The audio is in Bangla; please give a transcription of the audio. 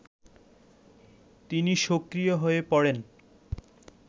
তিনি সক্রিয় হয়ে পড়েন